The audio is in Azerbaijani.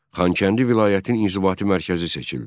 Xankəndi vilayətin inzibati mərkəzi seçildi.